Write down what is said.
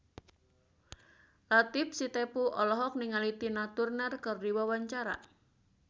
Latief Sitepu olohok ningali Tina Turner keur diwawancara